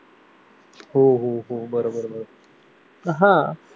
हो हो हो बरोबर आह